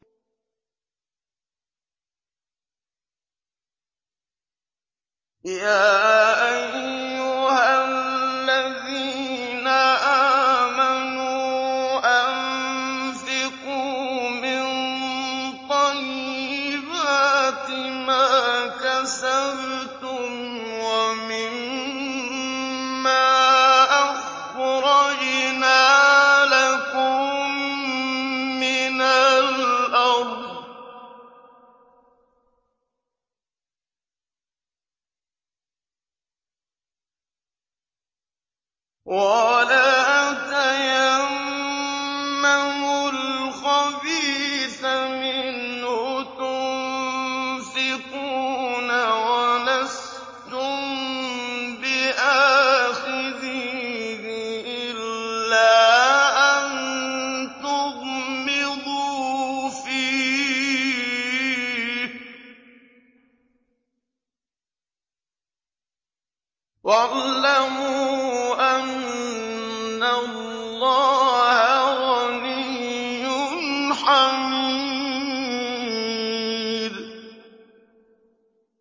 يَا أَيُّهَا الَّذِينَ آمَنُوا أَنفِقُوا مِن طَيِّبَاتِ مَا كَسَبْتُمْ وَمِمَّا أَخْرَجْنَا لَكُم مِّنَ الْأَرْضِ ۖ وَلَا تَيَمَّمُوا الْخَبِيثَ مِنْهُ تُنفِقُونَ وَلَسْتُم بِآخِذِيهِ إِلَّا أَن تُغْمِضُوا فِيهِ ۚ وَاعْلَمُوا أَنَّ اللَّهَ غَنِيٌّ حَمِيدٌ